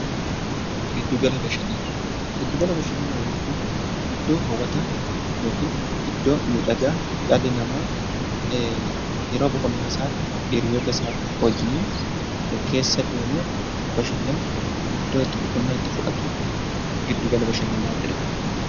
Giddugala Bashannanaa Giddugala Bashannanaa jechuun iddoo hawwataa yookiin iddoo miidhagaa dhalli namaa yeroo boqonnaa isaatti hiriyoota isaa wajjiniin keessa deemee bashannanu, iddoo itti boqonnaa itti fudhatu 'Giddugala Bashannanaa' jedhama.